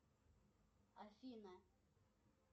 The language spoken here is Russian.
афина